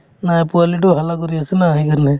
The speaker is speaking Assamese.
নাই পোৱালিটোই halla কৰি আছে না সেইকাৰণে